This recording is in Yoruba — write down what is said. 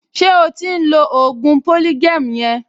Ṣé o ti ń lo ògùn polygem yẹn?